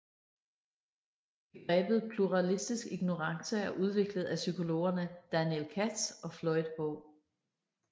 Begrebet Pluralistisk ignorance er udviklet af psykologerne Daniel Katz og Floyd H